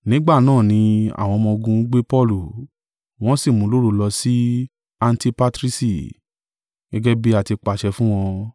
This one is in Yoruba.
Nígbà náà ni àwọn ọmọ-ogun gbe Paulu, wọ́n sì mú un lóru lọ si Antipatrisi, gẹ́gẹ́ bí a tí pàṣẹ fún wọn.